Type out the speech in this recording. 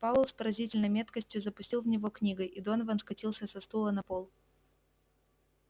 пауэлл с поразительной меткостью запустил в него книгой и донован скатился со стула на пол